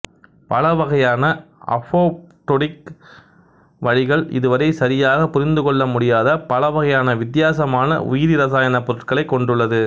பல வகையான அப்போப்டொடிக் வழிகள் இதுவரை சரியாக புரிந்து கொள்ள முடியாத பல வகையான வித்தியாசமான உயிரிரசாயன பொருட்களைக் கொண்டுள்ளது